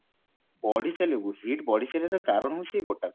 ବଢି ଚାଲିବ heat ବଢିଚାଲିବାର କାରଣ ହୋଉଛି ଏଇ ଗୋଟାକ